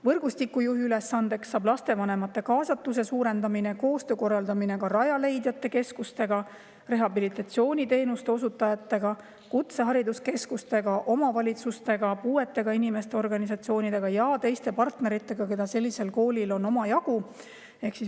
Võrgustiku juhi ülesandeks saab lastevanemate kaasatuse suurendamine ning koostöö korraldamine Rajaleidja keskustega, rehabilitatsiooniteenuste osutajatega, kutsehariduskeskustega, omavalitsustega, puuetega inimeste organisatsioonidega ja teiste partneritega, keda sellisel koolil on omajagu.